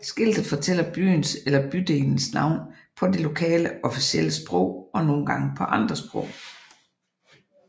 Skiltet fortæller byens eller bydelens navn på det lokale officielle sprog og nogle gange på andre sprog